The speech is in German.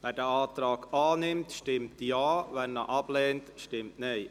Wer diesen Antrag annimmt, stimmt Ja, wer diesen ablehnt, stimmt Nein.